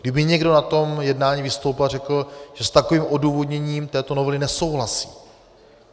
Kdyby někdo na tom jednání vystoupil a řekl, že s takovým odůvodněním této novely nesouhlasí.